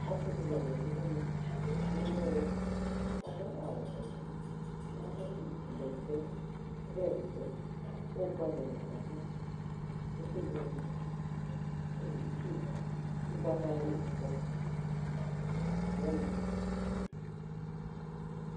ɔse di la zati n'ɛmɛ k'ewu elu k'ado awu vɛ ado bɛtɛ ɔvlɛ bɛtɛ ko ugba dini kɔ no ayɛto kò okebuele n'afa itsu ugbata dini kɔ